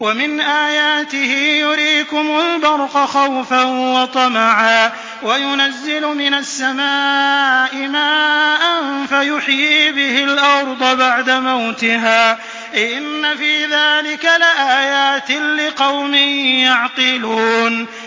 وَمِنْ آيَاتِهِ يُرِيكُمُ الْبَرْقَ خَوْفًا وَطَمَعًا وَيُنَزِّلُ مِنَ السَّمَاءِ مَاءً فَيُحْيِي بِهِ الْأَرْضَ بَعْدَ مَوْتِهَا ۚ إِنَّ فِي ذَٰلِكَ لَآيَاتٍ لِّقَوْمٍ يَعْقِلُونَ